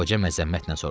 Qoca məzəmmətlə soruşdu.